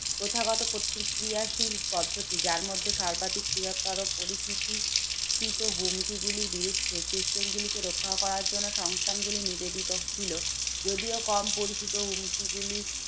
প্রথাগত প্রতিক্রিয়াশীল পদ্ধতি যার মধ্যে সর্বাধিক বৃহত্তর পরিচিতি চিত হুমকি গুলির বিরুদ্ধে system গুলিকে রক্ষা করার জন্যে সংস্থানগুলি নিবেদিত ছিল। যদিও কম পরিচিত হুমকি গুলি